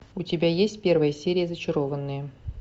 у тебя есть первая серия зачарованные